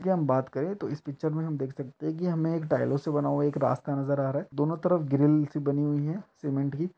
की हम बात करते हैं तो इस पिक्चर में हम देख सकते हैं कि हमें टाइलों से बना एक रास्ता नजर आ रहा है। दोनों तरफ ग्रिल सी बनी हुई है सीमेंट की।